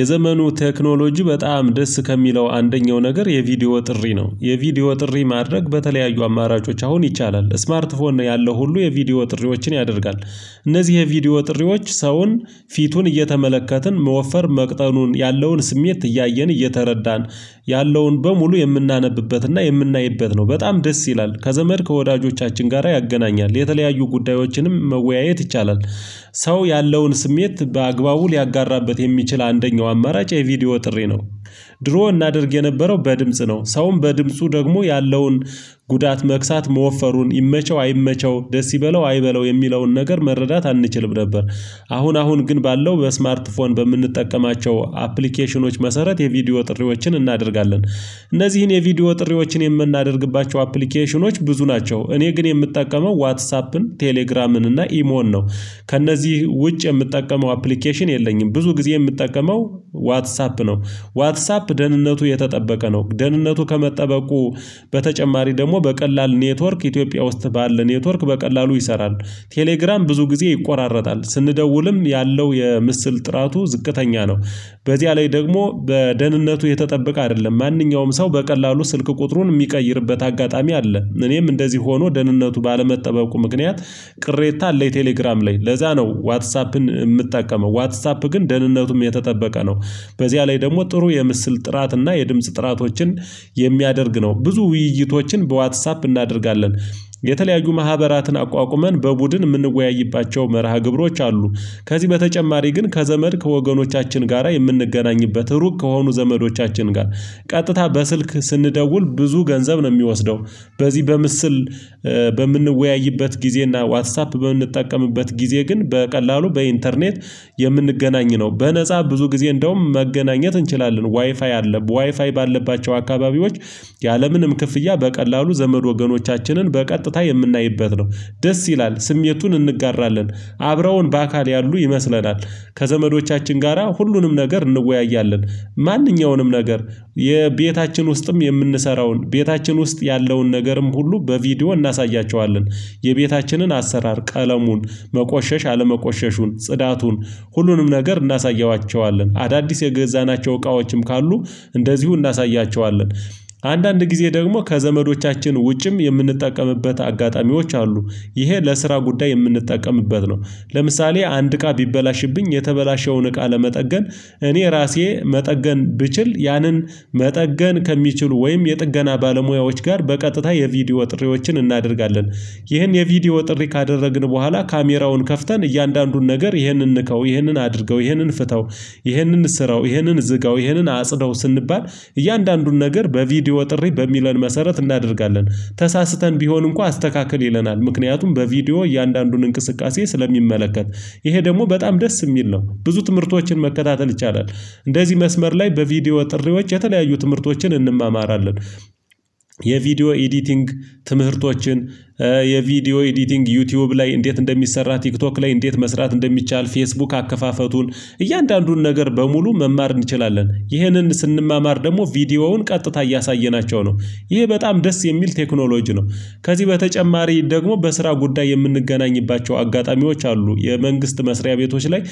የዘመኑ ቴክኖሎጂ በጣም ደስ ከሚለው አንደኛው ነገር የቪዲዮ ጥሪ ነው የቪዲዮ ጥሪ ማድረግ በተለያዩ አማራጮች አሁን ይቻላል ስማርት ፎን ያለው ሁሉ የቪዲዮ ጥሪዎችን ያደርጋል። እነዚህ የቪዲዮ ጥሪዎች ሰውን ፊቱን እየተመለከትን መወፈር መቅጠኑን ያለውን ስሜት እያየን እየተረዳን ያለውን በሙሉ የምናነብበትና የምናይበት ነው በጣም ደስ ይላል ከዘመድ ከወዳጆቻችን ጋራ ያገናኛል የተለያዩ ጉዳዮችንም መወያየት ይቻላል። ሰው ያለውን ስሜት በአግባቡ ሊያጋራበት የሚችል አንደኛው አማራጭ የቪዲዮ ጥሪ ነው። ድሮ እናድርግ የነበረው በድምጽ ነው ሰውም በድምጹ ደግሞ ያለውን ጉዳት መክሳት መወፈሩን ይመቸው አይመቸው ደስ ይበለው አይበለው የሚለውን ነገር መረዳት አንችልም ነበር። አሁን አሁን ግን ባለው በስማርት ፎን በምንጠቀማቸው አፕሊኬሽኖች መሰረት የቪዲዮ ጥሪዎችን እናደርጋለን። እነዚህን የቪዲዮ ጥሪዎችን የምናደርግባቸው አፕሊኬሽኖች ብዙ ናቸው እኔ ግን የምጠቀመው ዋትሳፕን ቴሌግራምን እና ኢሞን ነው። ከእነዚህ ውጭ የምጠቀመው አፕሊኬሽን የለኝም ብዙ ጊዜ የምጠቀመው ዋትሳፕ ነው። ዋትሳፕ ደህንነቱ የተጠበቀ ነው ደህንነቱ ከመጠበቁ በተጨማሪ ደግሞ በቀላል ኔትወርክ ኢትዮጵያ ውስጥ ባለ ኔትወርክ በቀላሉ ይሰራል። ቴሌግራም ብዙ ጊዜ ይቆራረጣል ስንደውልም ያለው የምስል ጥራቱ ዝቅተኛ ነው። በዚያ ላይ ደግሞ በደህንነቱ የተጠበቀ አይደለም ማንኛውም ሰው በቀላሉ ስልክ ቁጥሩን የሚቀይርበት አጋጣሚ አለ። እኔም እንደዚህ ሆኖ ደህንነቱ ባለመጠበቁ ምክንያት ቅሬታ አለኝ። ቴሌግራም ላይ ለዛ ነው ዋትስአፕን የምጠቀመው ዋትስአፕ ግን ደህንነቱም የተጠበቀ ነው። በዚያ ላይ ደግሞ ጥሩ የምስል ጥራት እና የድምጽ ጥራቶችን የሚያደርግ ነው። ብዙ ውይይቶችን በዋትሳፕ እናደርጋለን። የተለያዩ ማህበራትን አቋቁመን በቡድን የምንወያይባቸው መርሃ ግብሮች አሉ። ከዚህ በተጨማሪ ግን ከዘመድ ከወገኖቻችን ጋራ የምንገናኝበት ሩቅ ከሆኑ ዘመዶቻችን ጋር ቀጥታ በስልክ ስንደውል ብዙ ገንዘብ ነው የሚወስደው። በዚህ በምስል በምንወያይበት ጊዜ እና ዋትሳፕ በምንጠቀምበት ጊዜ ግን በቀላሉ በኢንተርኔት የምንገናኝ ነው በነፃ ብዙ ጊዜ እንደውም መገናኘት እንችላለን ዋይፋይ አለ ዋይፋይ ባለባቸው አካባቢዎች ያለምንም ክፍያ በቀላሉ ዘመድ ወገኖቻችንን በቀጥታ የምናይበት ነው። ደስ ይላል ስሜቱን እንጋራለን አብረውን በአካል ያሉ ይመስለናል። ከዘመዶቻችን ጋራ ሁሉንም ነገር እንወያያለን። ማንኛውንም ነገር የቤታችን ውስጥም የምንሰራውን ቤታችን ውስጥ ያለውን ነገርም ሁሉ በቪዲዮ እናሳያቸዋለን። የቤታችንን አሰራር ቀለሙን መቆሸሽ አለመቆሸሹን ጽዳቱን ሁሉንም ነገር እናሳያቸዋለን አዳዲስ የገዛናቸው እቃዎችም ካሉ እንደዚሁ እናሳያቸዋለን። አንዳንድ ጊዜ ደግሞ ከዘመዶቻችን ውጭም የምንጠቀምበት አጋጣሚዎች አሉ። ይሄ ለስራ ጉዳይ የምንጠቀምበት ነው። ለምሳሌ አንድ እቃ ቢበላሽብኝ የተበላሸውን እቃ ለመጠገን እኔ ራሴ መጠገን ብችል ያንን መጠገን ከሚችሉ ወይም የጥገና ባለሙያዎች ጋር በቀጥታ የቪዲዮ ጥሪዎችን እናደርጋለን። ይህን የቪዲዮ ጥሪ ካደረግን በኋላ ካሜራውን ከፍተን እያንዳንዱን ነገር ይህንን ንካው ይህንን አድርገው ይህንን ፍታው ይህንን እሰረው ይህንን ዝጋው ይሄንን አጽዳው ስንባል እያንዳንዱን ነገር በቪዲዮ ጥሪ በሚለን መሰረት እናደርጋለን። ተሳስተን ቢሆን እንኳን አስተካክል ይለናል ምክንያቱም በቪዲዮ እያንዳንዱን እንቅስቃሴ ስለሚመለከት። ይሄ ደግሞ በጣም ደስ የሚል ነው ብዙ ትምህርቶችን መከታተል ይቻላል። እንደዚህ መስመር ላይ በቪዲዮ ጥሪዎች የተለያዩ ትምህርቶችን እንማማራለን። የቪዲዮ ኤዲቲንግ ትምህርቶችን የቪዲዮ ኤዲቲንግ ዩቲዩብ ላይ እንዴት እንደሚሰራ ቲክቶክ ላይ እንዴት መስራት እንደሚቻል ፌስቡክ አከፋፈቱን እያንዳንዱን ነገር በሙሉ መማር እንችላለን ይህንን ስንማማር ደግሞ ቪዲዮውን ቀጥታ እያሳየናቸው ነው ይሄ በጣም ደስ የሚል ቴክኖሎጂ ነው። ከዚህ በተጨማሪ ደግሞ በስራ ጉዳይ የምንገናኝባቸው አጋጣሚዎች አሉ የመንግስት መስሪያ ቤቶች ላይ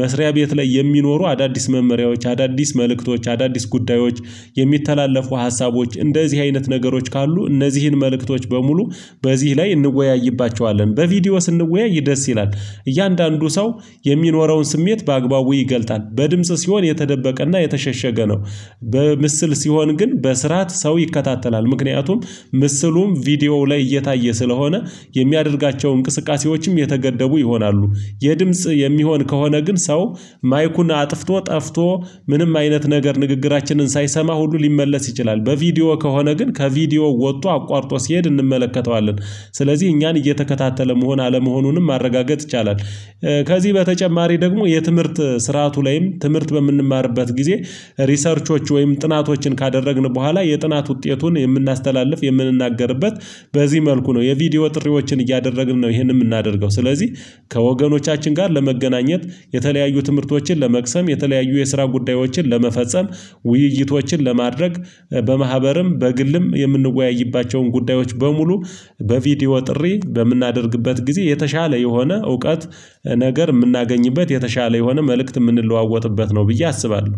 መስሪያ ቤት ላይ የሚኖሩ አዳዲስ መመሪያዎች አዳዲስ መልእክቶች አዳዲስ ጉዳዮች የሚተላለፉ ሀሳቦች እንደዚህ አይነት ነገሮች ካሉ እነዚህን መልእክቶች በሙሉ በዚህ ላይ እንወያይባቸዋለን በቪዲዮ ስንወያይ ደስ ይላል። እያንዳንዱ ሰው የሚኖረውን ስሜት በአግባቡ ይገልጣል በድምጽ ሲሆን የተደበቀና የተሸሸገ ነው። በምስል ሲሆን ግን በስርዓት ሰው ይከታተላል ምክንያቱም ምስሉም ቪዲዮ ላይ እየታየ ስለሆነ የሚያደርጋቸው እንቅስቃሴዎችም የተገደቡ ይሆናሉ። የድምጽ የሚሆን ከሆነ ግን ሰው ማይኩን አጥፍቶ ጠፍቶ ምንም አይነት ነገር ንግግራችንን ሳይሰማ ሁሉ ሊመለስ ይችላል በቪዲዮ ከሆነ ግን ከቪዲዮ ወጥቶ አቋርጦ ሲሄድ እንመለከተዋለን ስለዚህ እኛን እየተከታተለ መሆን አለመሆኑንም ማረጋገጥ ይቻላል። ከዚህ በተጨማሪ ደግሞ የትምህርት ስርዓቱ ላይም ትምህርት በምንማርበት ጊዜ ሪሰርቾች ወይም ጥናቶችን ካደረግን በኋላ የጥናት ውጤቱን የምናስተላልፍ የምንናገርበት በዚህ መልኩ ነው የቪዲዮ ጥሪዎችን እያደረግን ነው ይሄንን የምናደርገው ስለዚህ ከወገኖቻችን ጋር ለመገናኘት የተለያዩ ትምህርቶችን ለመቅሰም የተለያዩ የስራ ጉዳዮችን ለመፈጸም ውይይቶችን ለማድረግ በማህበርም በግልም የምንወያይባቸውን ጉዳዮች በሙሉ በቪዲዮ ጥሪ በምናደርግበት ጊዜ የተሻለ የሆነ እውቀት ነገር የምናገኝበት የተሻለ የሆነ መልእክት የምንለዋወጥበት ነው ብዬ አስባለሁ